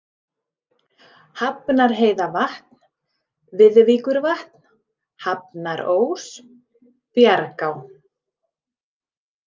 Hafnarheiðavatn, Viðvíkurvatn, Hafnarós, Bjargá